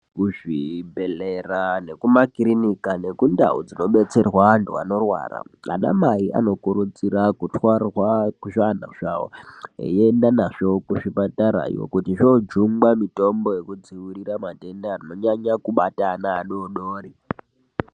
Kuzvibhedhlera nekumakirinika nekundau dzinobetserwa antu anorwara. Anamai anokurudzirwa kutwarwa zvana zvavo eienda nazvo kuzvipatarayo. Kuti zvojungwa mitombo yekudzirira matenda anonyanya kubata ana adodori.